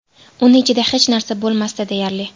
Uni ichida hech narsa bo‘lmasdi, deyarli.